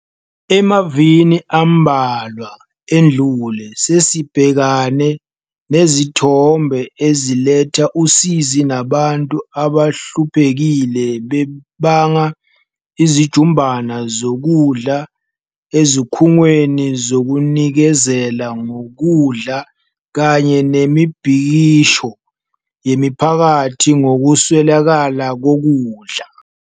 Emavikini ambalwa edlule, sesibhekane nezithombe eziletha usizi zabantu abahluphekile bebanga izijumbana zokudla ezikhungweni zokunikezela ngokudla kanye nemibhikisho yemiphakathi ngokuswelakala kokudla.